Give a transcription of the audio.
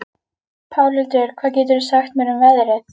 Pálhildur, hvað geturðu sagt mér um veðrið?